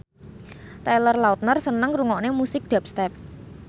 Taylor Lautner seneng ngrungokne musik dubstep